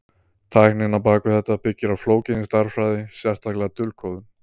Tæknin á bak við þetta byggir á flókinni stærðfræði, sérstaklega dulkóðun.